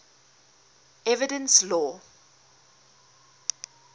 evidence law